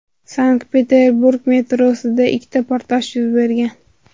Sankt-Peterburg metrosida ikkita portlash yuz bergan.